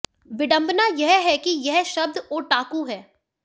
विडंबना यह है कि यह शब्द ओटाकू है